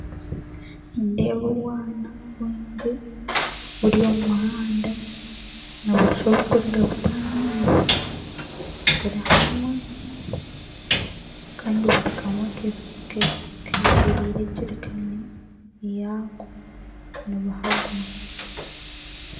Nindeeba obwana bwingi buri omu muhanda, nooshusha oburikuruga kutaha amaizi. Buri hamwe kandi buri kamwe ke kekoreire ejerikaani yako nibuha gumwe.